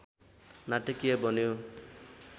नाटकीय बन्यो